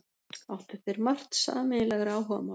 Áttu þeir margt sameiginlegra áhugamála.